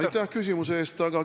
Aitäh küsimuse eest!